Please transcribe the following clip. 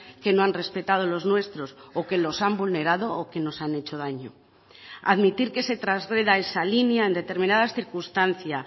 que no han respetado los nuestros o que los han vulnerado o que nos han hecho daño admitir que se trasgreda esa línea en determinadas circunstancia